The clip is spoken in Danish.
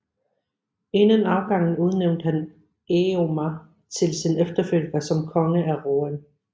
Inden afgangen udnævnte han Èomer til sin efterfølger som konge af Rohan